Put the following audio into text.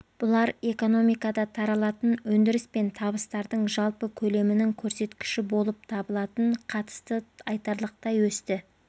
бұлар экономикада таралатын өндіріс пен табыстардың жалпы көлемінің көрсеткіші болып табылатын қатысты айтарлықтай өсті